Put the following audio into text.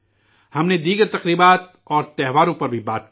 ہم نے دیگر تہواروں کا بھی ذکر کیا